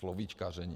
Slovíčkaření.